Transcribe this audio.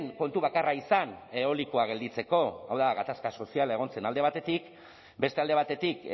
kontu bakarra izan eolikoa gelditzeko hau da gatazka soziala egon zen alde batetik beste alde batetik